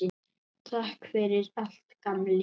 Takk fyrir allt, gamli.